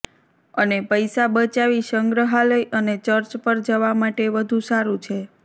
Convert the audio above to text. અને પૈસા બચાવી સંગ્રહાલય અને ચર્ચ પર જવા માટે વધુ સારું છે